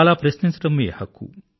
అలా ప్రశ్నించడం మీ హక్కు